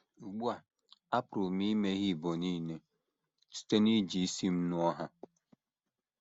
Ugbu a, apụrụ m imeghe ibo nile site n’iji isi m nuo ha.